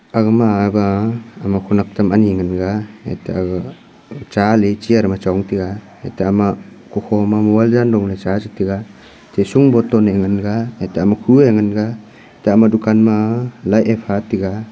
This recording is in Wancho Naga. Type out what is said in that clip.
aga ma ama khawnek tam ani ngan ga ete aga cha le chair ma chong tega eto ama kukho ma mobile jando le cha che tega bottle e ngan ga khu e ngan ga ate ama dukan ma lah e pha ga.